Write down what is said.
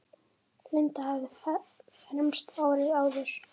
Linda hafði fermst árið áður.